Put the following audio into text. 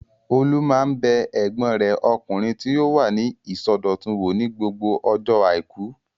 Olú máa ń bẹ ẹ̀gbọ́n rẹ̀ ọkùnrin tí ó wà ní ilé ìsọdọ̀tun wò ní gbogbo ọjọ́ àìkú.